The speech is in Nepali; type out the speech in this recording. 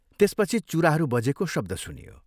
त्यसपछि चुराहरू बजेको शब्द सुनियो।